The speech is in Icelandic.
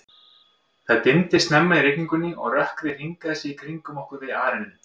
Það dimmdi snemma í rigningunni, og rökkrið hringaði sig í kringum okkur við arininn.